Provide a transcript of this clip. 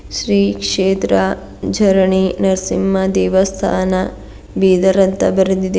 ಶ್ರೀ ಕ್ಷೇತ್ರ ಜರನಿ ನರಸಿಂಹ ದೇವಸಾನ ಬೀದರ ಅಂತ ಬರೆದಿದೆ.